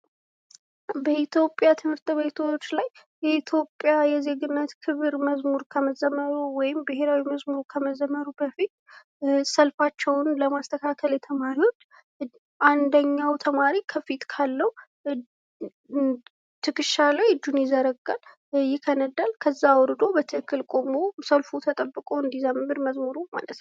በኢትዮጵያ ትምህርት ቤቶች ላይ የኢትዮጵያ የዜግነት ክብር መዝሙር ከመዘመሩ ወይም ብሔራዊ መዘሙሩ በፊት ሰልፋቸውን ለማስተካከል የተማሪውን አንደኛው ተማሪ ከፊት ካለው ትከሻ ላይ እጁን ይዘረጋል፣ ይከነዳል። ከዛ አውርዶ በትክክል ቆሞ ሰልፉ ተጠብቆ እንዲዘምር መዝሙሩ ማለት ነው።